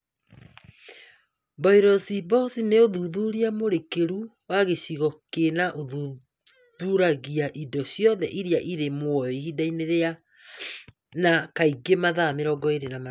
BioBlitz nĩ ũthuthuria mũrikĩru wa gĩcigo kĩna na ũthuthuragia indo ciothe iria irĩ muoyo ihinda-inĩ rĩna, kaingĩ mathaa 24